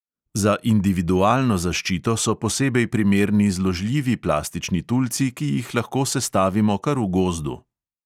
Za individualno zaščito so posebej primerni zložljivi plastični tulci, ki jih lahko sestavimo kar v gozdu.